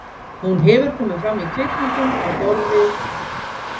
hún hefur komið fram í kvikmyndum á borð við